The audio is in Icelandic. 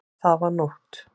Það var nótt.